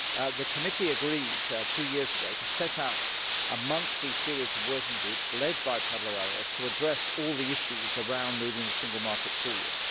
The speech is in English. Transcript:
The Committee agreed two years ago to set up a series of monthly working groups, led by Pablo Arias, to address all the issues around moving the single market forward.